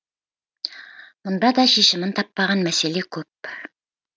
мұнда да шешімін таппаған мәселе көп